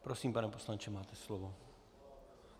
Prosím, pane poslanče, máte slovo.